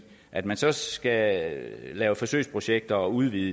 at man så skal lave forsøgsprojekter og udvide